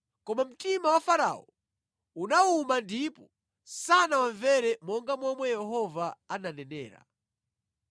Koma mtima wa Farao unawuma ndipo sanawamvere monga momwe Yehova ananenera.